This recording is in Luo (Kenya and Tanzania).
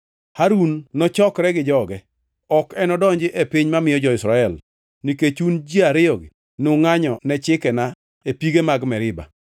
“Harun nochokre gi joge. Ok enodonji e piny mamiyo jo-Israel, nikech un ji ariyogi nungʼanyo ne chikena e pige mag Meriba.